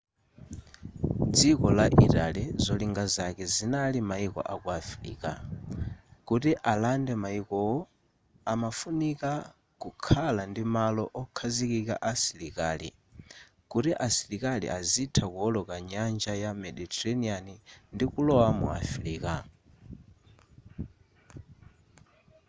dziko la italy zolinga zake zinali mayiko aku africa kuti alande mayikowo amafunika kukhala ndi malo okhazikika a asilikali kuti asilikali azitha kuwoloka nyanja ya mediterranean ndi kulowa mu africa